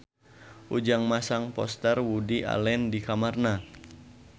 Ujang masang poster Woody Allen di kamarna